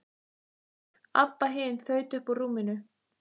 Abba hin þaut upp úr rúminu.